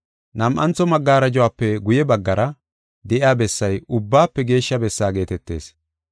Nam7antho magarajuwafe guye baggara de7iya bessay Ubbaafe Geeshsha Bessaa geetetees.